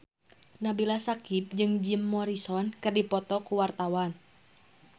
Nabila Syakieb jeung Jim Morrison keur dipoto ku wartawan